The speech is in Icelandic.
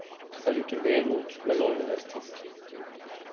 Það lítur vel út með loðnuvertíð